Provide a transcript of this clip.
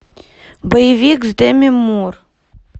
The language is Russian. боевик с деми мур